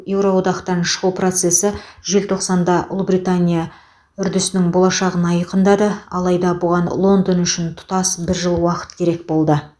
еуро одақтан шығу процесі желтоқсанда ұлыбритания үрдісінің болашағын айқындады алайда бұған лондон үшін тұтас бір жыл уақыт керек болды